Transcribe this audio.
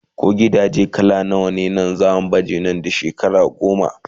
ko gidajen laka zasu bace Nan da. shekara goma?